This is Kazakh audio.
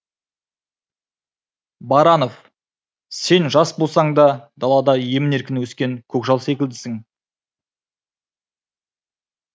баранов сен жас болсаң да далада емін еркін өскен көкжал секілдісің